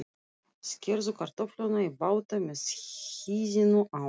Skerðu kartöflurnar í báta með hýðinu á.